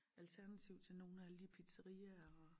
Alternativ til nogen af alle de pizzariaer og